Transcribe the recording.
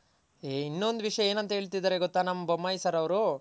ಹೇ ಇನ್ನೊಂದ್ ವಿಷ್ಯ ಏನಂತ್ ಹೇಳ್ತಿದಾರೆ ಗೊತ್ತ ನಮ್ ಬೊಮ್ಮಯ್ ಸರ್ ಅವ್ರು